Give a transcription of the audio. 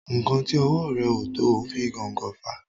nkán tí owó rẹ o to o fi gón gò fà.